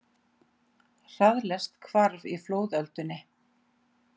Hraðlest hvarf í flóðöldunni